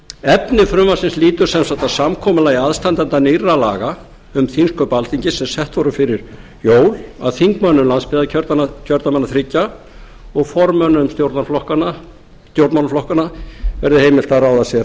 efni frumvarpsins lýtur sem sagt að samkomulagi aðstandenda nýrra laga um þingsköp alþingis sem sett voru fyrir jól af þingmönnum landsbyggðarkjördæmanna þriggja og formönnum stjórnmálaflokkanna verði heimilt að ráða sér aðstoðarmenn eins